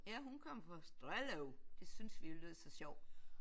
Ja hun kom fra Strellev det synes vi jo lød så sjovt